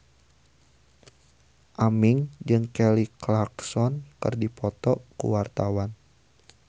Aming jeung Kelly Clarkson keur dipoto ku wartawan